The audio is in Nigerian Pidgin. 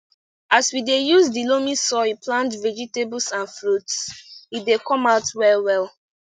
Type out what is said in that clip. as we dey use the loamy soil plant vegetables and fruits e dey come out well well